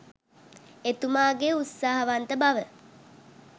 එතුමාගේ උත්සාහවන්ත බව.